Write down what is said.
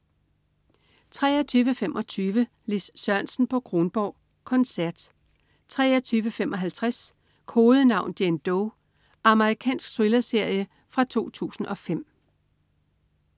23.25 Lis Sørensen på Kronborg. Koncert 23.55 Kodenavn: Jane Doe. Amerikansk thriller-serie fra 2005